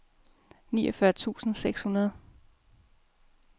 niogfyrre tusind seks hundrede